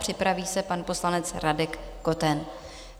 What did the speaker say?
Připraví se pan poslanec Radek Koten.